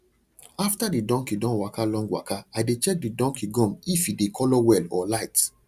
after the donkey don waka long waka i dey check the donkey gum if e dey colour well or light